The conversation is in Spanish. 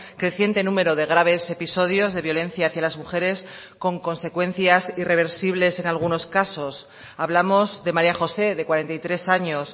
creciente número de graves episodios de violencia hacia las mujeres con consecuencias irreversibles en algunos casos hablamos de maría josé de cuarenta y tres años